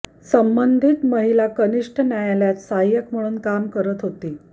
संबंधित महिला कनिष्ठ न्यायालयात सहाय्यक म्हणून काम करत होती